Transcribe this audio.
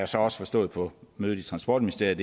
så også forstået på mødet i transportministeriet